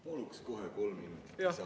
Paluks kohe kolm minutit lisaaega ka.